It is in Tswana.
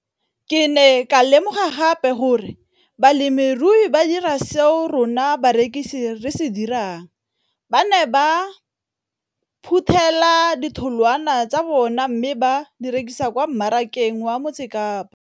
Ke ne ka lemoga gape gore balemirui ba dira seo rona barekisi re se dirang - ba ne ba phuthela ditholwana tsa bona mme ba di rekisa kwa marakeng wa Motsekapa.